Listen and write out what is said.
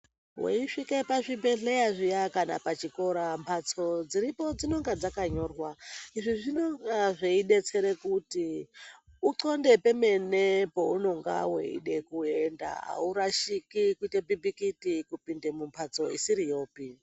Weisvike pazvibhedhleya zviya kana pachikora, mphatso dziripo dzinonga dzakanyorwa. Izvi zvinonga zveidetsere kuti, uxonde pemene pounonga weide kuenda. Aurashiki kuite bhibhikiti kupinde mumphatso isiriyopi.